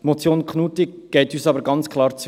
Die Motion Knutti geht uns aber ganz klar zu weit.